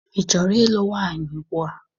Ị chọrọ ịlụ nwaanyị ugbua?